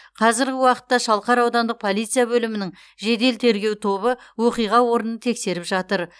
қазіргі уақытта шалқар аудандық полиция бөлімінің жедел тергеу тобы оқиға орнын тексеріп жатыр